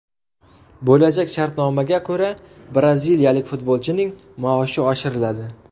Bo‘lajak shartnomaga ko‘ra, braziliyalik futbolchining maoshi oshiriladi.